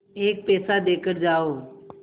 एक पैसा देकर जाओ